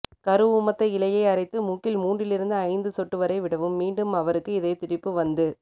கருஊமத்த இலையை அரைத்து மூக்கில் மூன்றிலிருந்து ஐந்து சொட்டுவரை விடவும் மீண்டும் அவருக்கு இதயத்துடிப்பு வந்து